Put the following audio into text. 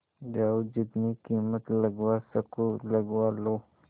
जाओ जितनी कीमत लगवा सको लगवा लो